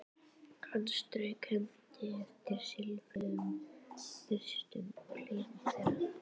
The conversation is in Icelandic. Hann strauk hendi eftir silfruðum og bústnum hliðum þeirra.